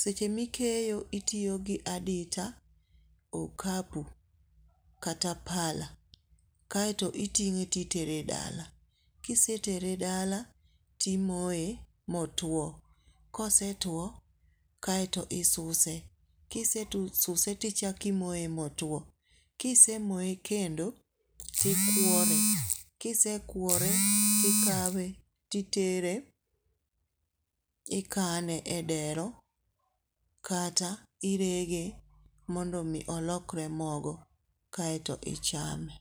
seche mikeyo titiyo gi adita, okapu kata pala. Kaeto itinge itere dala, kise tere dala timoye motwo kosetwo kaeto isuse, kise suse to ichaki moye motwo, kisemoye kendo tikwore , kise kwore tikawe titere ikane e dero kata irege mondo mi olokre mogo kaeto ichame